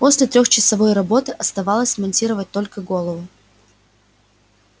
после трёхчасовой работы оставалось смонтировать только голову